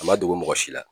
A ma dogo mɔgɔ si la